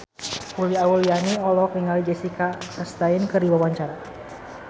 Uli Auliani olohok ningali Jessica Chastain keur diwawancara